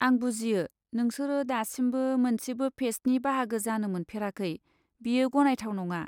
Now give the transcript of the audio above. आं बुजियो, नोंसोरो दासिमबो मोनसेबो फेस्टनि बाहागो जानो मोनफेराखै बेयो गनायथाव नङा।